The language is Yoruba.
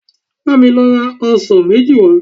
Bá mi lọ ra ọsàn méjì wá